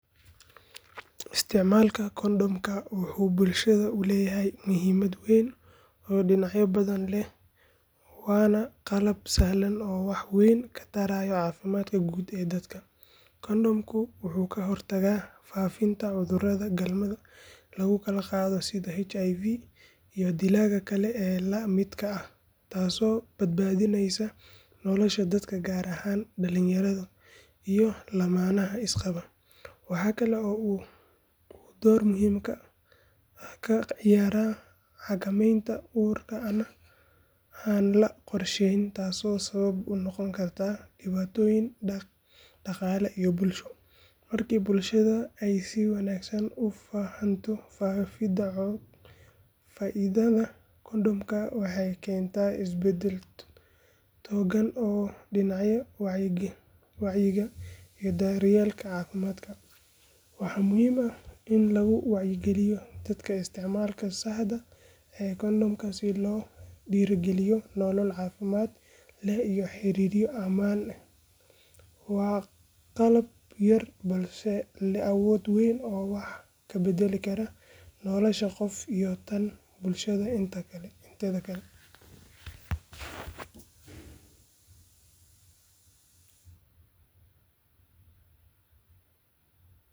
Isticmaalka kondhomka wuxuu bulshada u leeyahay muhiimad weyn oo dhinacyo badan leh waana qalab sahlan oo wax weyn ka taraya caafimaadka guud ee dadka. Kondhomku wuxuu ka hortagaa faafitaanka cudurrada galmada lagu kala qaado sida HIV iyo dilaaga kale ee la midka ah taasoo badbaadinaysa nolosha dadka gaar ahaan dhalinyarada iyo lammaanaha isqaba. Waxa kale oo uu door muhiim ah ka ciyaaraa xakameynta uurka aan la qorsheyn taasoo sabab u noqon karta dhibaatooyin dhaqaale iyo bulsho. Markii bulshada ay si wanaagsan u fahanto faa’iidada kondhomka waxay keentaa isbeddel togan oo dhinaca wacyiga iyo daryeelka caafimaad. Waxaa muhiim ah in lagu wacyigeliyo dadka isticmaalka saxda ah ee kondhomka si loogu dhiirrigeliyo nolol caafimaad leh iyo xiriiryo ammaan ah. Waa qalab yar balse leh awood weyn oo wax ka beddeli kara nolosha qof iyo tan bulshada inteeda kale.